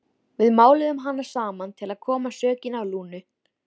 Við máluðum hana saman til að koma sökinni á Lúnu.